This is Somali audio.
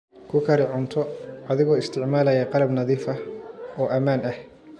Ku kari cunto adigoo isticmaalaya qalab nadiif ah oo ammaan ah.